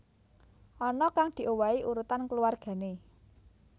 Ana kang diowahi urutan keluwargané